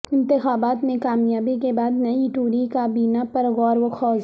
انتخابات میں کامیابی کے بعد نئی ٹوری کابینہ پر غوروخوض